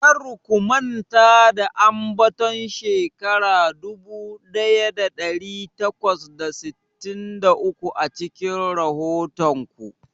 Kar ku manta da ambaton shekara dubu daya dari takwas da sittin da uku a cikin rahoton ku.